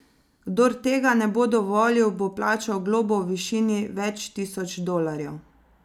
Kdor tega ne bo dovolil, bo plačal globo v višini več tisoč dolarjev.